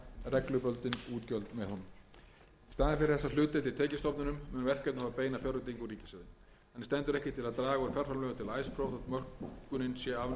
reglubundin útgjöld með honum í staðinn fyrir þessa hlutdeild í tekjustofninum mun verkefnið fá beina fjárveitingu úr ríkissjóði þannig stendur ekki til að draga